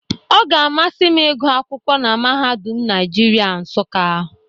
Ọ ga-amasị m ịgwụ akwụkwọ na mahadum Naịjirịa Nsụka.